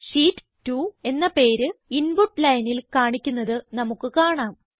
sheet 2 എന്ന പേര് input lineൽ കാണിക്കുന്നത് നമുക്ക് കാണാം